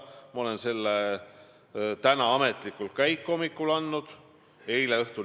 Kui te ise ütlete, et te ei ole seda öelnud, siis mille eest te vabandate?